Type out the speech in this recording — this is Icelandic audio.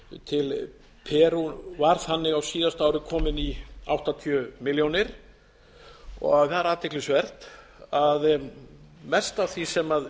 til perú var þannig á síðasta ári var þannig kominn í áttatíu milljónir það er athyglisvert að mest af því sem